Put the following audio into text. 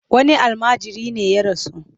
Wani almajiri ne ya rasu.